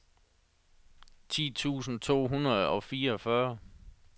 ti tusind to hundrede og fireogfyrre